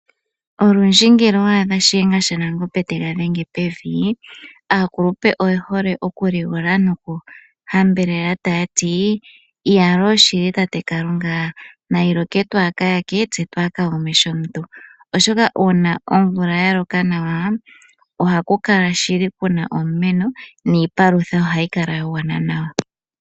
Olundji ngele owadha shilengashanangombe tega dhenge pevi aakulupe oyehole oku ligola noku hambelela taya ti "Iyaloo! shili tate Kalunga nayi loke twa kaayake tse twa kaagume shomuntu", oshoka una omvula ya loka nawa ohaku kala shili kuna omumeno niipalutha ohayi kala yagwana nawa.